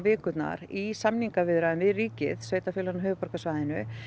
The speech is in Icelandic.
í samningaviðræðum við ríkið sveitarfélögin á höfuðborgarsvæðinu